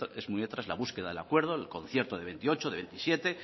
es muy tras la búsqueda el acuerdo el concierto de veintiocho de veintisiete